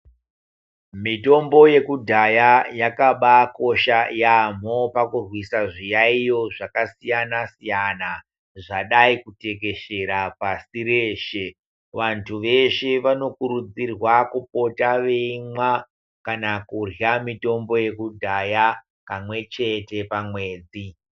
Mitombo yakudhaya yakabakosha yaamho pakurwisa zviyaiyo zvakasiyana-siyana. Zvadai kutekeshera pasi reshe vantu veshe vanokurudzirwa kupota veimwa kana kurya mitombo yakudhaya kamwe chete pamwedzi.